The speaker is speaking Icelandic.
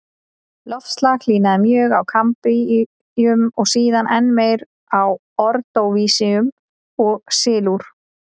Loftslag hlýnaði mjög á kambríum og síðan enn meir á ordóvísíum og sílúr.